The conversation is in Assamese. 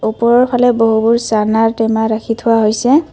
ওপৰৰফালে বহুবোৰ চানা টেমা ৰাখি থোৱা হৈছে।